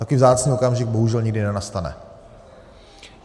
Takový vzácný okamžik bohužel nikdy nenastane.